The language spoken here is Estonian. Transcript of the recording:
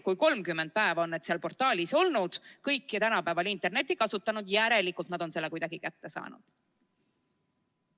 Kui 30 päeva on need seal portaalis olnud, siis, kuna kõik ju tänapäeval internetti kasutavad, on nad järelikult selle teate kuidagi kätte saanud.